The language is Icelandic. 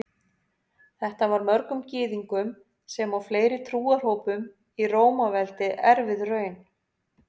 Þetta var mörgum Gyðingum sem og fleiri trúarhópum í Rómaveldi erfið raun.